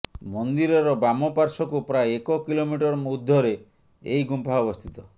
ମନ୍ଦିରର ବାମ ପାର୍ଶ୍ୱକୁ ପ୍ରାୟ ଏକ କିଲୋମିଟର୍ ଊର୍ଦ୍ଧ୍ୱରେ ଏହି ଗୁମ୍ଫା ଅବସ୍ଥିତ